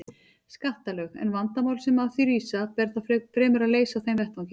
skattalög, en vandamál sem af því rísa ber þá fremur að leysa á þeim vettvangi.